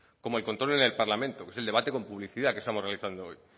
como el control en el parlamento que es el debate con publicidad que estamos realizando hoy